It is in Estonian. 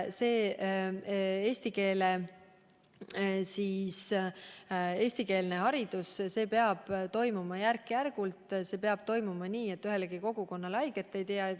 Eestikeelsele haridusele üleminek peab toimuma järk-järgult, see peab toimuma nii, et ühelegi kogukonnale haiget ei tehtaks.